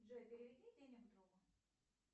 джой переведи денег другу